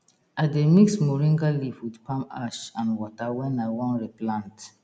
i dey mix moringa leaf with palm ash and water when i wan replant